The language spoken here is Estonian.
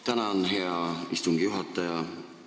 Tänan, hea istungi juhataja!